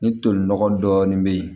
Ni toli nɔgɔ dɔɔni bɛ ye